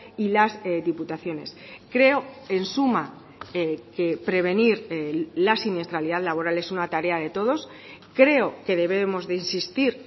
y las diputaciones creo en suma que prevenir la siniestralidad laboral es una tarea de todos creo que debemos de insistir